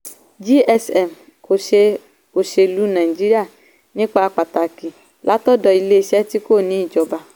gsm kò ṣe òṣèlú nàìjíríà nípa pàtàkì látọ̀dọ̀ iléeṣẹ́ tí kò ní ìjọba.